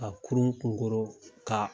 A kurun kunkoro ka